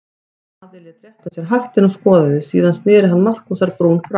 Daði lét rétta sér hattinn og skoðaði, síðan sneri hann Markúsar-Brún frá.